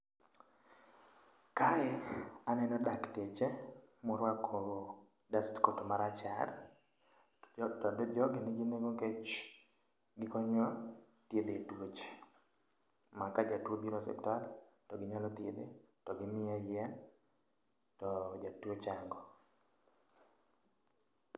Kae aneno dakteche moruako dustcoat marachar.J ogi nigi nengo nikech gi konyo dhiedho tuoche. Ma ka jatuo obiro osiptal to gi nyalo dhiedhe to gi miye yien to jatuo chango.